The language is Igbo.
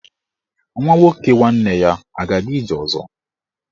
Nwa nwoke nwanne ya a ga-aga ije ọzọ?